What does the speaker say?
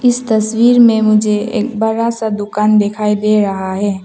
इस तस्वीर में मुझे एक बड़ा सा दुकान दिखाई दे रहा है।